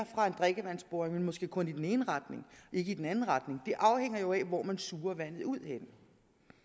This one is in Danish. fra en drikkevandsboring men måske kun i den ene retning ikke i den anden retning det afhænger jo af hvor man suger vandet ud jo